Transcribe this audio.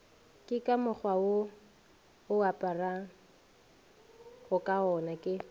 ke ka mokgwawo oaparagokagona ke